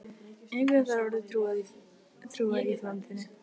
Ingveldur Geirsdóttir: Hvers vegna setjið þið þessa ályktun fram?